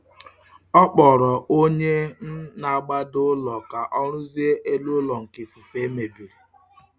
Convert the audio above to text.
Ọ kpọrọ onye um na-agbado ụlọ ka ọ rụzie elu ụlọ nke ifufe febiri.